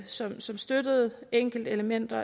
som som støttede enkeltelementer